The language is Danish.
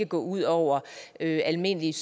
gå ud over almindelige